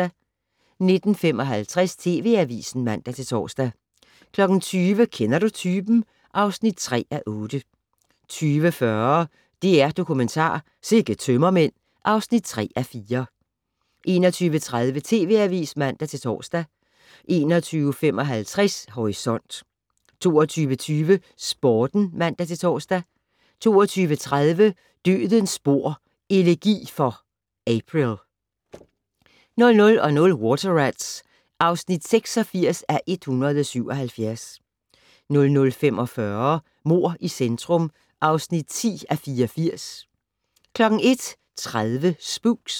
19:55: TV Avisen (man-tor) 20:00: Kender du typen? (3:8) 20:40: DR-Dokumentar: Sikke tømmermænd (3:4) 21:30: TV Avisen (man-tor) 21:55: Horisont 22:20: Sporten (man-tor) 22:30: Dødens spor: Elegi for April 00:00: Water Rats (86:177) 00:45: Mord i centrum (10:84) 01:30: Spooks